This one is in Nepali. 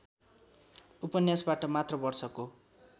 उपन्यासबाट मात्र वर्षको